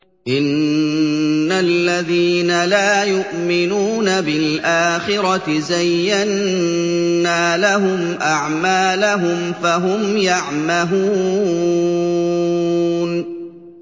إِنَّ الَّذِينَ لَا يُؤْمِنُونَ بِالْآخِرَةِ زَيَّنَّا لَهُمْ أَعْمَالَهُمْ فَهُمْ يَعْمَهُونَ